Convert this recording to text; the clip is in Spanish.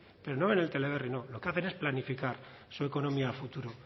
pero no ven el teleberri no lo que hace es planificar su economía a futuro